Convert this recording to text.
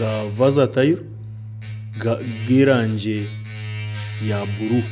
ga vasatayiro g'erangi ya buru